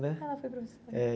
né? Ela foi professora. É.